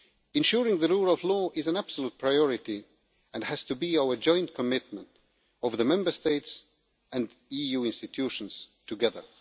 Ensuring the rule of law is an absolute priority and has to be our joint commitment of the Member States and of EU institutions together.